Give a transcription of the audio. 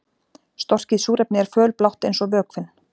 Storkið súrefni er fölblátt eins og vökvinn.